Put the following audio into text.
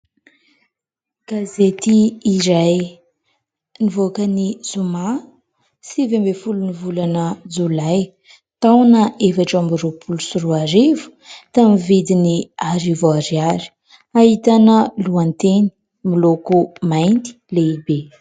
Gazety iray nivoaka ny Zoma, sivy ambin'ny folon'ny volana Jolay, taona efatra amby roapolo sy roa arivo tamin'ny vidiny arivo ariary. Ahitana lohateny miloko mainty lehibe.